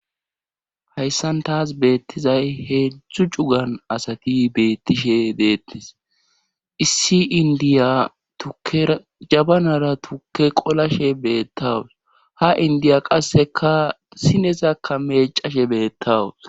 hayssan taas beettizay hedzdzu cugan asati beettishe deettes issi indiya tukke jabanara tukke qolashe beettawus ha indiya qasseka sinesakka mecashe beettawus